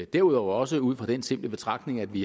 derudover også ud fra den simple betragtning at vi